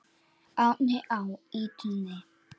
Árni á ýtunni.